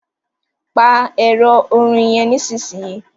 pa Ẹ̀rọ orin yén nísìsiyìí!